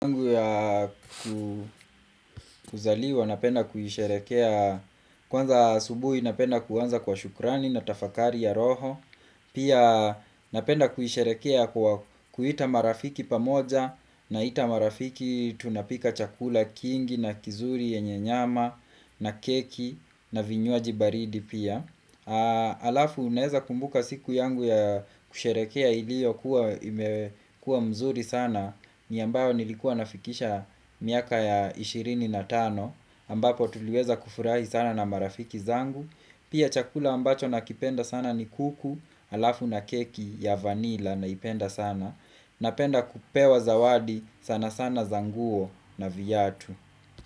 Kuzaliwa napenda kuisherekea Kwanza asubuhi napenda kuanza kwa shukrani na tafakari ya roho Pia napenda kuisherekea kwa kiita marafiki pamoja Naita marafiki tunapika chakula kingi na kizuri yenye nyama na keki na vinywaji baridi pia Alafu naeza kumbuka siku yangu ya kusherekea ilio kuwa imekua mzuri sana ni ambayo nilikuwa nafikisha miaka ya ishirini na tano ambapo tuliweza kufurahi sana na marafiki zangu Pia chakula ambacho nakipenda sana ni kuku Alafu na keki ya vanila naipenda sana Napenda kupewa zawadi sana sana za nguo na viatu.